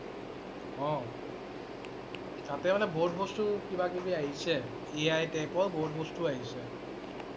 অ' তাতে মানে বহুত বস্তু কিবা কবি আহিছে । AItype ৰ বহুত বস্তু আহিছে